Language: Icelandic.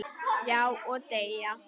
Já, og deyja